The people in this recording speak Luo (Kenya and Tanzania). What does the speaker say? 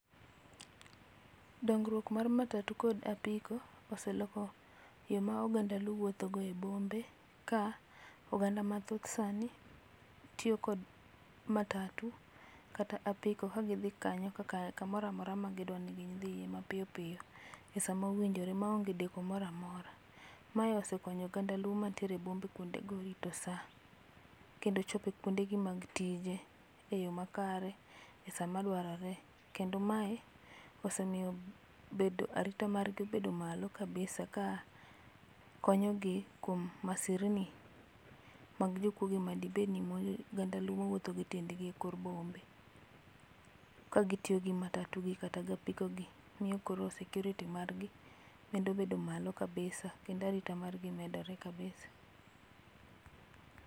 Dongruok mar matatu kod apiko oseloko yo ma oganda luo wuotho go e bombe ka oganda mathoth sani tiyo kod matatu kata apiko kagidhi kanyo kamoro amora ma gidwa ni gidhiye mapiyo piyo e sama owinjore maonge deko moro maora. Ma osekonyo oganda luo manie bombe kuonde go rito saa kendo chope kuonde gi mag tije eyoo makare e sama dwarore kendo mae osemiyo bedo, arita margi bedo malo kabisa ka konyo gi kuom masirni mag jokuoe madibedni oganda luo wuotho go e dendgi e kor bombe. Kagitiyo gi matatu gi kata apiko gi miyo koro security[sc] margi medo bedo malo kabisa kendo arita margi medore malo kabisa